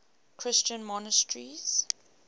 christian monasteries